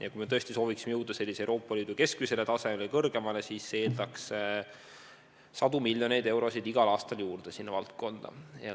Ja kui me tõesti sooviksime jõuda Euroopa Liidu keskmisele tasemele või kõrgemale, siis see eeldaks sadu miljoneid eurosid igal aastal sinna valdkonda juurde.